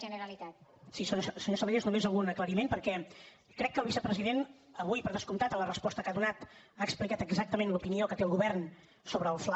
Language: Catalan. senyor salellas només algun aclariment perquè crec que el vicepresident avui per descomptat a la resposta que ha donat ha explicat exactament l’opinió que té el govern sobre el fla